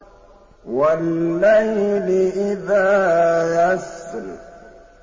وَاللَّيْلِ إِذَا يَسْرِ